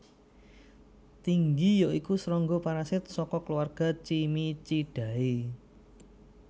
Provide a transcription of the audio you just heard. Tinggi ya iku srangga parasit saka keluarga Cimicidae